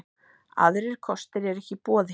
Aðrir kostir eru ekki í boði